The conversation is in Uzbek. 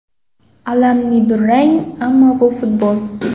Alamli durang, ammo bu futbol.